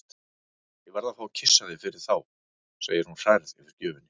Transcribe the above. Ég verð að fá að kyssa þig fyrir þá, segir hún hrærð yfir gjöfinni.